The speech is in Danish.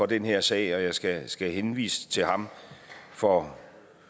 den her sag og jeg skal skal henvise til ham for